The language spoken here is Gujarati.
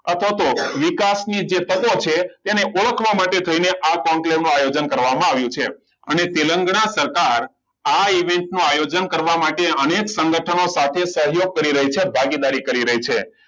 અથવા તો વિકાસની જે તકો છે તેને ઓળખવા માટે તેમને આ conclave ઓનો આયોજન કરવામાં આવ્યું છે અને તેલંગાના સરકાર આ event નું આયોજન કરવા માટે અનેક સંગઠનો સાથે સહયોગ કરી રહી છે ભાગીદારી કરી રહી છે